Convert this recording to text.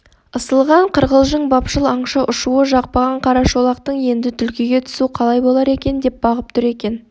ысылған қырқылжың бапшыл аңшы ұшуы жақпаған қарашолақтың енді түлкіге түсу қалай болар екен деп бағып тұр екен